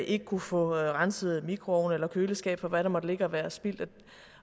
ikke kunne få renset mikroovn eller køleskab for hvad der måtte ligge og være spildt